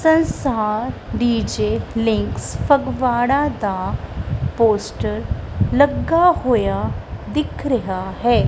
DJ Links Phagwara ਦਾ poster ਲੱਗਾ ਹੋਇਆ ਦਿਖ ਰਿਹਾ ਹੈ।